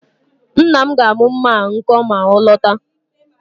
Nna m ga-amụ mma a nkọ ma ọ lọta